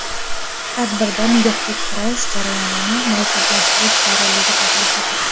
Tadbirda nikohga kirish jarayonini murakkablashtirish zarurligi taklif etilgan.